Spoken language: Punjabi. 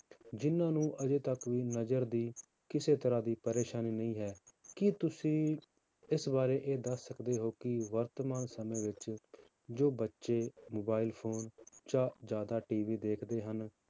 ਜਿੰਨਾਂ ਨੂੰ ਅਜੇ ਤੱਕ ਵੀ ਨਜ਼ਰ ਦੀ ਕਿਸੇ ਤਰ੍ਹਾਂ ਦੀ ਪਰੇਸਾਨੀ ਨਹੀਂ ਹੈ, ਕੀ ਤੁਸੀਂ ਇਸ ਬਾਰੇ ਇਹ ਦੱਸ ਸਕਦੇ ਹੋ ਕਿ ਵਰਤਮਾਨ ਸਮੇਂ ਵਿੱਚ ਜੋ ਬੱਚੇ mobile phone ਜਾਂ ਜ਼ਿਆਦਾ TV ਦੇਖਦੇ ਹਨ,